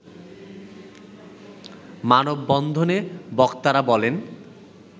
মানববন্ধনে বক্তারা বলেন